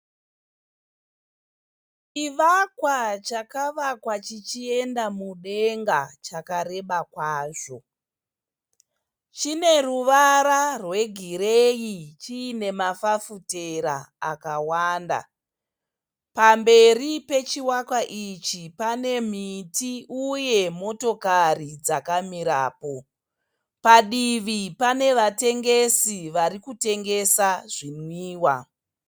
Chivakwa chakavakwa chichienda mudenga chakareba kwazvo. Chineruvara rwegireyi chiine mafafutera akawanda. Pamberi pechivakwa ichi pane miti uye motokari dzakamirapo. Padivi panevatengesi varikutengesa zvinwiwa.